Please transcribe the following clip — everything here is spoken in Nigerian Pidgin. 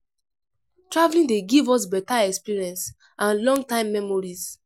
Traveling dey give us better experience and long time memories